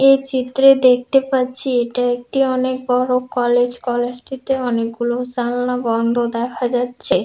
এই চিত্রে দেখতে পাচ্ছি এটা একটি অনেক বড় কলেজ কলেজটিতে অনেকগুলো জালনা বন্ধ দেখা যাচ্ছে ।